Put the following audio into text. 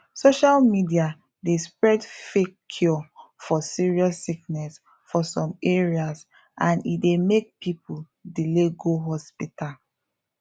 social media dey spread fake cure for serious sickness for some areas and e dey make people delay go hospital